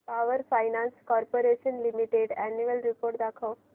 power finance corporation limited annual report दाखव